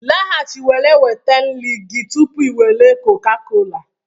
Laghachi were nweta nri gị tupu i were Coca-cola